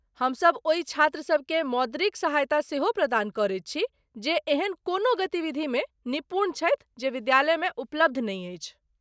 हमसभ ओहि छात्रसभ केँ मौद्रिक सहायता सेहो प्रदान करैत छी जे एहन कोनो गतिविधिमे निपुण छथि जे विद्यालयमे उपलब्ध नहि अछि।